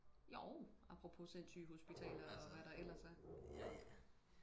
jo apropos sindssyge hospitaler og hvad der ellers er